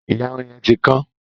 Ìyàrun yẹn ti kán.